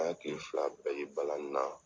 An ye kile fila bɛɛ kɛ balani na.